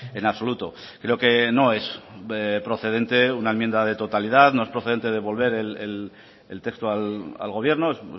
en absoluto creo que no es procedente una enmienda de totalidad no es procedente devolver el texto al gobierno es